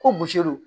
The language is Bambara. Ko don